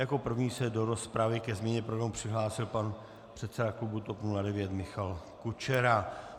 Jako první se do rozpravy ke změně programu přihlásil pan předseda klubu TOP 09 Michal Kučera.